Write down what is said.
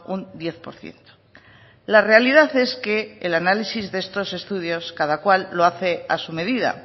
un diez por ciento la realidad es que el análisis de estos estudios cada cual lo hace a su medida